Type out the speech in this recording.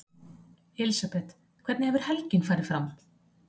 Elísabet: Hvernig hefur helgin farið fram?